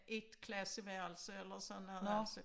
Et klasseværelse eller sådan noget altså